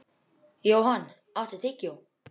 Johan, áttu tyggjó?